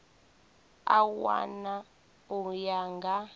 a wana u ya nga